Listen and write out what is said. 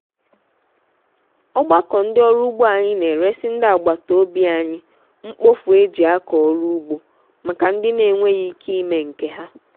ogbako ndi oru ugbo anyi n’eresi ndi agbata obi anyi mkpofu eji ako oru ugbo maka ndi na-enweghị ike ime nke ha.